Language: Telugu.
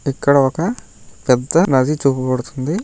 ఇక్కడ ఒక పెద్ద నది చూపబడుతుంది.